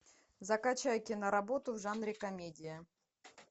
закачай киноработу в жанре комедия